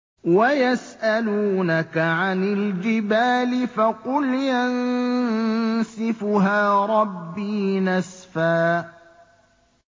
وَيَسْأَلُونَكَ عَنِ الْجِبَالِ فَقُلْ يَنسِفُهَا رَبِّي نَسْفًا